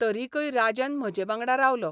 तरिकय राजन म्हजे वांगडा रावलो.